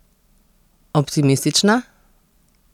Optimistična?